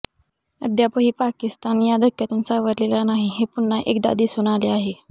अद्यापही पाकिस्तान या धक्क्यातून सावरलेला नाही हे पुन्हा एकदा दिसून आले आहे